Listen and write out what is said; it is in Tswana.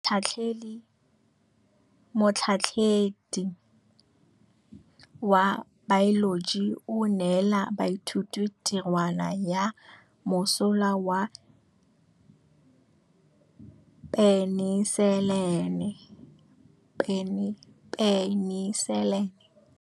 Motlhatlhaledi wa baeloji o neela baithuti tirwana ya mosola wa peniselene.